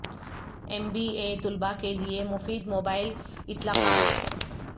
M B A طلباء کے لئے مفید موبائل اطلاقات